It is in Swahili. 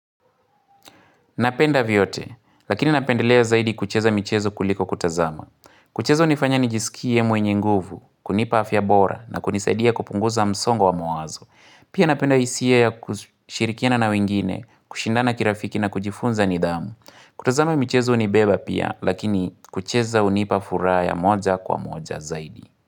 Napenda vyote, lakini napendelea zaidi kucheza michezo kuliko kutazama. Kucheza hunifanya nijisikie mwenye nguvu, kunipa afya bora na kunisaidia kupunguza msongo wa mawazo. Pia napenda hisia ya kushirikina na wengine, kushindana kirafiki na kujifunza nidhamu. Kutazama michezo hunibeba pia, lakini kucheza hunipa furaha ya moja kwa moja zaidi.